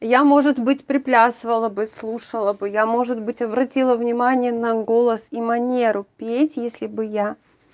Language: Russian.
я может быть приплясывая бы слушала бы я может быть обратила внимание на голос и манеру петь если бы я